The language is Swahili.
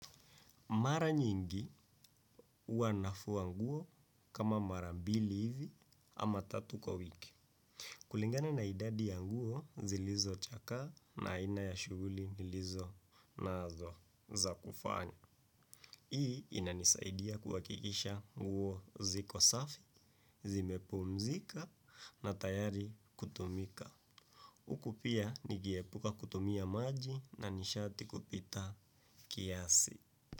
Mara nyingi huwa nafua nguo kama mara mbili hivi ama tatu kwa wiki. Kulingana na idadi ya nguo zilizochakaa na aina ya shughuli nilizonazo za kufanya. Hii inanisaidia kuhakikisha nguo ziko safi, zimepumzika na tayari kutumika. Huku pia nikiepuka kutumia maji na nishati kupita kiasi.